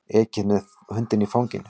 Ekið með hundinn í fanginu